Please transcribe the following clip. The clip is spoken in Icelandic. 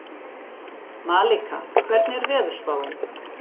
Malika, hvernig er veðurspáin?